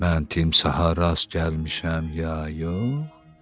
Mən timsaha rast gəlmişəm ya yox?